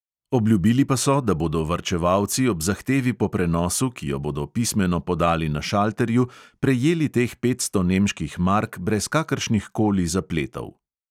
Obljubili pa so, da bodo varčevalci ob zahtevi po prenosu, ki jo bodo pismeno podali na šalterju, prejeli teh petsto nemških mark brez kakršnih koli zapletov.